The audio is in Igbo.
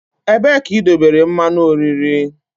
Ebee ka idobere mmanụ oriri?